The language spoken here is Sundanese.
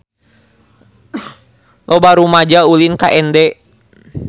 Loba rumaja ulin ka Ende